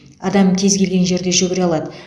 адам кез келген жерде жүгіре алады